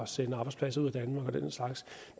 sende arbejdspladser ud af danmark og den slags